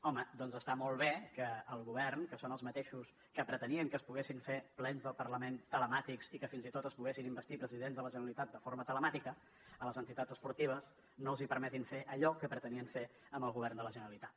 home doncs està molt bé que el govern que són els mateixos que pretenien que es poguessin fer plens del parlament telemàtics i que fins i tot es poguessin investir presidents de la generalitat de forma telemàtica a les entitats esportives no els permetin fer allò que pretenien fer amb el govern de la generalitat